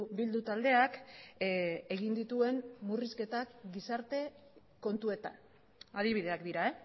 bildu taldeak egin dituen murrizketak gizarte kontuetan adibideak dira